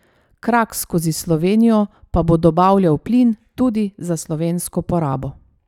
Krak skozi Slovenijo pa bo dobavljal plin tudi za slovensko porabo.